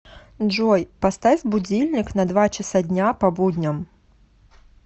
джой поставь будильник на два часа дня по будням